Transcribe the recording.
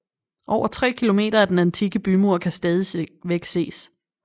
Over tre km af den antikke bymur kan stadigvæk ses